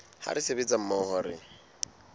ha re sebetsa mmoho re